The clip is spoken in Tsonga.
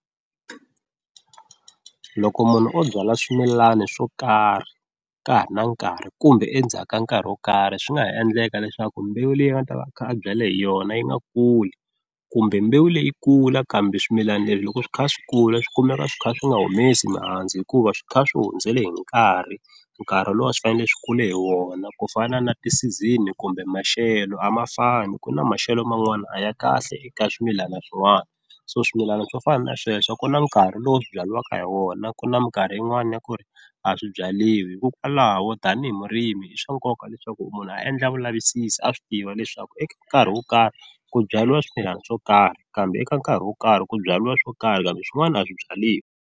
Loko munhu o byala swimilana swo karhi ka ha ri na nkarhi kumbe endzhaku ka nkarhi wo karhi swi nga ha endleka leswaku mbewu leyi a nga ta va a kha a byale hi yona yi nga kuli kumbe mbewu leyi kula kambe swimilana leswi loko swi kha swi kula swi kumeka swi kha swi nga humesi mihandzu hikuva swi kha swi hundzele hi nkarhi, nkarhi lowu a swi fanele swi kule hi wona ku fana na ti-season kumbe maxelo a ma fani ku na maxelo man'wani a ya kahle eka swimilana swin'wani, so swimilana swo fana na sweswo ku na nkarhi lowu swi byariwaka hi wona ku na minkarhi yin'wani ya ku ri a swi byaliwi hikokwalaho tanihi murimi i swa nkoka leswaku munhu a endla vulavisisi a swi tiva leswaku eka nkarhi wo karhi ku byariwa swimilana swo karhi kambe eka nkarhi wo karhi ku byaliwa swo karhi kambe swin'wana a swi byaliwi.